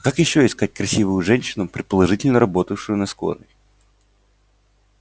как ещё искать красивую женщину предположительно работавшую на скорой